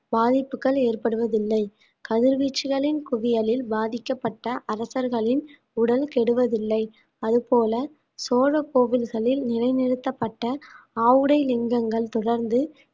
பாதிப்புகள் ஏற்படுவதில்லை கதிர்வீச்சுகளின் குவியலில் பாதிக்கப்பட்ட அரசர்களின் உடல் கெடுவதில்லை அது போல சோழ கோவில்களில் நிலைநிறுத்தப்பட்ட ஆவுடை லிங்கங்கள் தொடர்ந்து